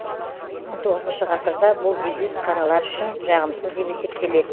он тоғызыншы ғасырда бұл дебют қаралар үшін жағымсыз деп есептелет